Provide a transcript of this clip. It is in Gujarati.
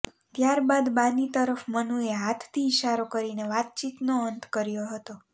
ત્યાર બાદ બાની તરફ મનુએ હાથથી ઈશારો કરીને વાતચીતનો અંત કર્યો હતો